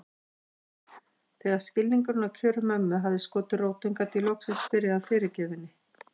Þegar skilningurinn á kjörum mömmu hafði skotið rótum gat ég loksins byrjað að fyrirgefa henni.